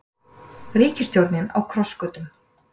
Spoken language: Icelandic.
Ríkisstjórnin á krossgötum